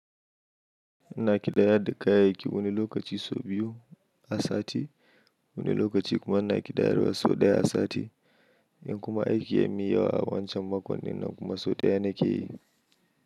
Ina ƙidayar da kayayyaki wani lokaci sau biyu a sati, wani lokaci kuma ina ƙidayar wasu sau ɗaya a sati. In kuma aiki ya miya wa a wancan makonina kuma sau ɗaya na ke yi.